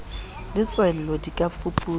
le tswello di ka fuputswa